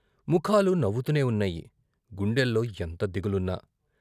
ముఖాలు నవ్వుతూనే ఉన్నాయి గుండెల్లో ఎంత దిగులున్నా.